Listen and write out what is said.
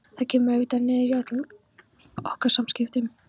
Þetta kemur auðvitað niður á öllum okkar samskiptum.